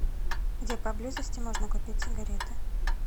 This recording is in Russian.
где поблизости можно купить сигареты